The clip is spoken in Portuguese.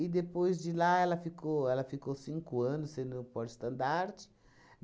E, depois de lá, ela ficou ela ficou cinco anos sendo porta-estandarte.